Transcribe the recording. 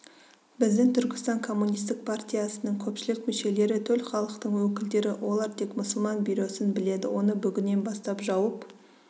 біздің түркістан комунистік партиясының көпшілік мүшелері төл халықтың өкілдері олар тек мұсылман бюросын біледі оны бүгіннен бастап жауып